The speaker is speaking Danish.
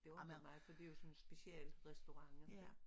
Det undrer mig for det jo sådan en specialrestaurant